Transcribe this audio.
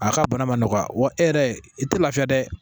A ka bana ma nɔgɔya wa e yɛrɛ i tɛ lafiya dɛ